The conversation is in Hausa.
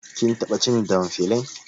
Kin taɓa cin damfilin